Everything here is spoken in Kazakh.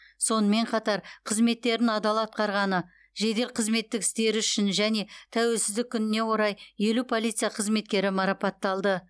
сонымен қатар қызметтерін адал атқарғаны жедел қызметтік істері үшін және тәуелсіздік күніне орай елу полиция қызметкері марапатталды